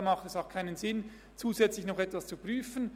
Da macht es auch keinen Sinn, zusätzlich noch etwas zu prüfen.